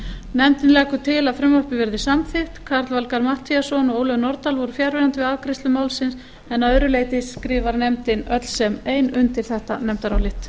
nefndin leggur til að frumvarpið verði samþykkt karl valgarð matthíasson og ólöf nordal voru fjarverandi við afgreiðslu málsins en að öðru leyti skrifar nefndin öll sem ein undir þetta nefndarálit